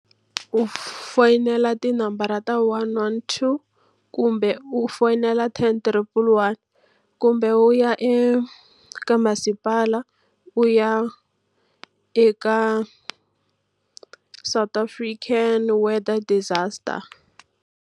U foyinela tinambara ta one one two, kumbe u foyinela ten triple one. Kumbe u ya eka masipala, u ya eka South African weather disaster.